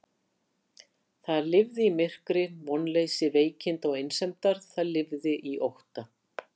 Það lifði í myrkri, vonleysi veikinda og einsemdar, það lifði í ótta.